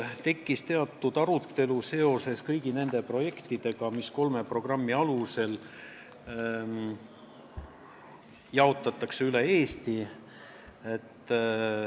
Tekkis ka arutelu seoses kõigi nende projektide rahaga, mis kolme programmi alusel üle Eesti jaotatakse.